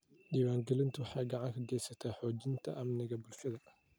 Diiwaangelintu waxay gacan ka geysataa xoojinta amniga bulshada.